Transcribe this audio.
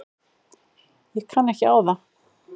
Ég kann ekki á það.